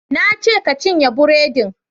Na ce ka cinye buredin!